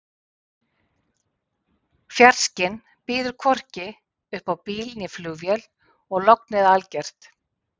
Fjarskinn býður hvorki upp á bíl né flugvél og lognið er algert.